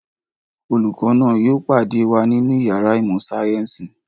Olùkọ́ náà yóò pàdé wa nínú ìyàrá ìmọ̀-sáyẹ́ńsì.